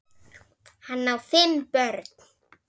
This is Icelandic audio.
Hann á fimm börn.